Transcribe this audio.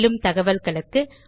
மேலும் தகவல்களுக்கு